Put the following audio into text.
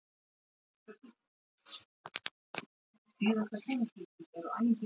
Valdimar yppti öxlum.